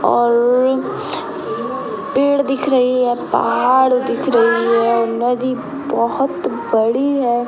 ओउर पेड़ दिख रही है पहाड़ दिख रही है नदी बहुत बड़ी है।